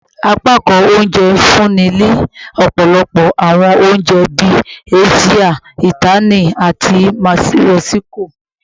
Apakan ounjẹ nfunni ni ọpọlọpọ awọn ounjẹ bii Asia, Itali, ati Mexico